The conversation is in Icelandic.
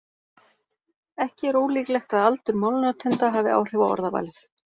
Ekki er ólíklegt að aldur málnotenda hafi áhrif á orðavalið.